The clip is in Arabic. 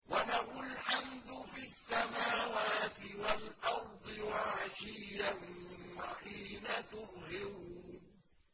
وَلَهُ الْحَمْدُ فِي السَّمَاوَاتِ وَالْأَرْضِ وَعَشِيًّا وَحِينَ تُظْهِرُونَ